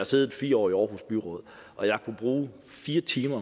siddet fire år i aarhus byråd jeg kunne bruge fire timer